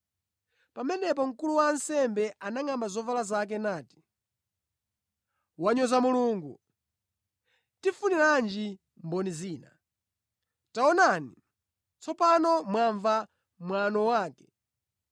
Pamenepo mkulu wa ansembe anangʼamba zovala zake nati, “Wanyoza Mulungu! Tifuniranji mboni zina? Taonani, tsopano mwamva mwano wake.